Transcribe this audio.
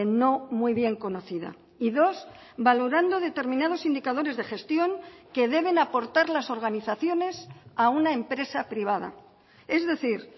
no muy bien conocida y dos valorando determinados indicadores de gestión que deben aportar las organizaciones a una empresa privada es decir